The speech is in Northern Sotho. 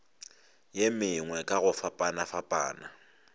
ye mengwe ka go fapafapana